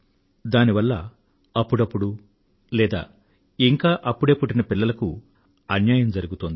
దానివల్ల అప్పుడప్పుడు లేదా ఇంకా అప్పుడే పుట్టిన పిల్లలకు అన్యాయం జరుగుతోంది